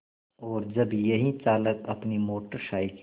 और जब यही चालक अपनी मोटर साइकिल